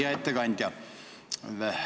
Hea ettekandja!